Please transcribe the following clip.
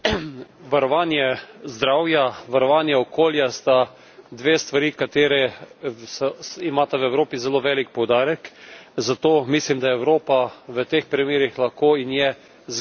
Varovanje zdravja, varovanje okolja sta dve stvari, ki imata v Evropi zelo velik poudarek, zato mislim, da Evropa v teh primerih lahko in je zgled tudi ostalim deželam po svetu.